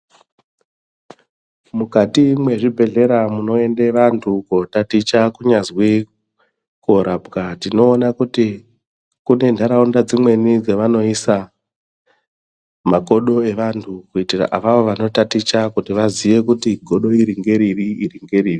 Mukati mezvibhedhera munoende vantu kuotaticha kunyazwi kunorapwa tinoona kuti kune ntaraunda dzimweni dzavanoisa makodo evantu kuitira avavo vanotaticha vazive kuti godo iri ngeripi iri ngeripi.